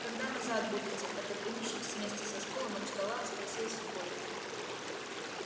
когда назад будете отодвинувшись вместе со стулом от стола спросил сухой